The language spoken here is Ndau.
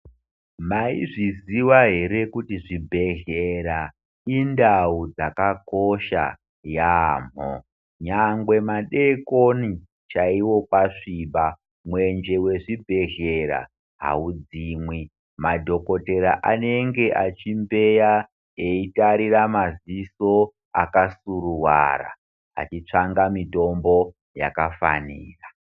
Maizviziva here kuti zvibhehlera indau dzakakosha yaamho nyangwe madeikoni chaiwo kwasviba mwenje wezvibhehlera haudzimwi. Madhokotera anenge achimbeya eitarira madziso akasuruwara achitsvanga mitombo yakafanira.